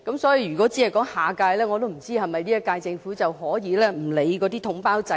所以，如果寫明是"下屆"，是否表示現屆政府便可不理會統包制呢？